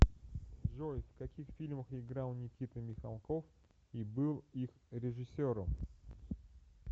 джой в каких фильмах играл никита михалков и был их режиссером